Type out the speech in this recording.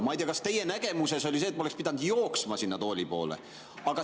Ma ei tea, kas teie nägemuses oleks ma pidanud sinna tooli poole jooksma.